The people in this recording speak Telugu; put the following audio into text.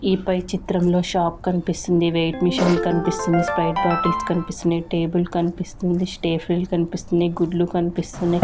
ఈ పై చిత్రంలో షాప్ కనిపిస్తుంది వెయిట్ మెషీన్ కనిపిస్తుంది స్ప్రైట్ బాటిల్స్ కనిపిస్తున్నాయి టేబుల్ కనిపిస్తుంది స్టేఫ్రీలు కనిపిస్తున్నాయి గుడ్లు కనిపిస్తున్నాయి.